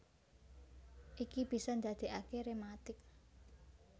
Iki bisa ndadékaké rématik